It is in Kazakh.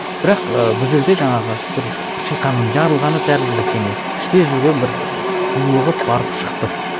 бірақ і бүл жерде жаңағы бір шиқанның жарылғаны тәрізді бір теңеу іште жүрген бір булығып барып шықты